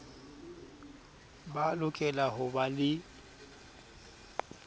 ba lokela ho ba le